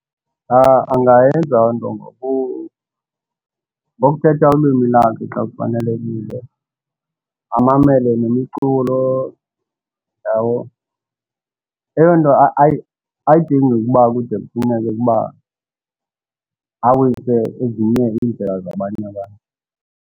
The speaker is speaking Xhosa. Angayenza onto ngokuthetha ulwimi lakhe xa kufanelekile, amamele nemiculo. Yabo?. Eyo nto ayidingi ukuba kude kufuneke ukuba awise ezinye iindlela zabanye abantu.